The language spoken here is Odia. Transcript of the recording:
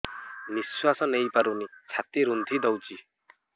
ନିଶ୍ୱାସ ନେଇପାରୁନି ଛାତି ରୁନ୍ଧି ଦଉଛି